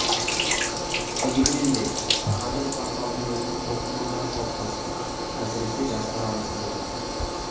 дегенменде қазір порталдың өзіндік оқырмандары қалыптасты әсіресе жастар арасында көп